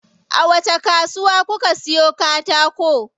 A wacce kasuwa kuka siyo katako?